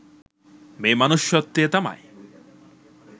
මේ මනුෂ්‍යත්වය තමයි